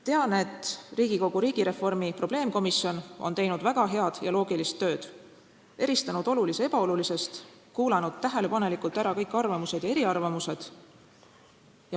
Tean, et Riigikogu riigireformi probleemkomisjon on teinud väga head ja loogilist tööd, eristanud olulise ebaolulisest ning kuulanud tähelepanelikult ära kõik arvamused ja eriarvamused.